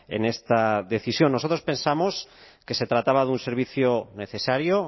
en esta decisión nosotros pensamos que se trataba de un servicio necesario